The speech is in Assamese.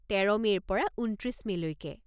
তেৰ মে'ৰ পৰা ঊনত্ৰিছ মে'লৈকে।